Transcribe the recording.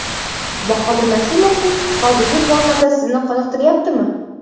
Bahodir Nasimovning hozirgi formasi sizni qoniqtiryaptimi?